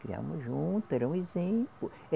Criamos junto, era um exemplo.